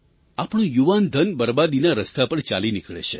આપણું યુવાન ધન બરબાદીના રસ્તા પર ચાલી નીકળે છે